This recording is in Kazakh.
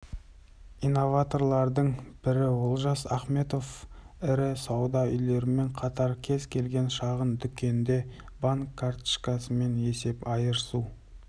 инноваторлардың бірі олжас ахметов ірі сауда үйлерімен қатар кез келген шағын дүкенде банк карточкасымен есеп айырысу